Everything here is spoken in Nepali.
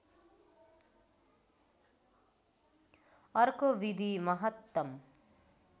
अर्को विधि महत्तम